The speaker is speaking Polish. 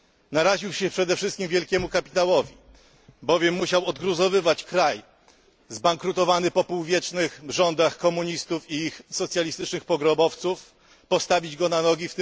Naraził się przede wszystkim wielkiemu kapitałowi, bowiem musiał odgruzowywać kraj zbankrutowany po półwiecznych rządach komunistów i ich socjalistycznych pogrobowców, postawić go na nogi.